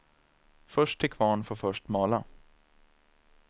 Först till kvarn får först mala.